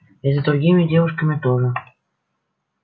и за другими девушками тоже